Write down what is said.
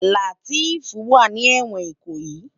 Lateef wá ni èwòn Ikoyi